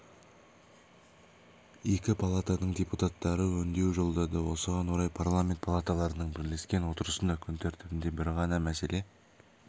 екі палатаның депутаттары үндеу жолдады осыған орай парламент палаталарының бірлескен отырысында күн тәртібінде бір ғана мәселе